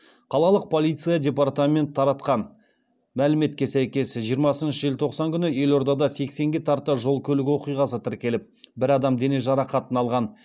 қалалық полиция департамент таратқан мәліметке сәйкес жиырмасыншы желтоқсан күні елордада сексенге тарта жол көлік оқиғасы тіркеліп бір адам дене жарақатын алған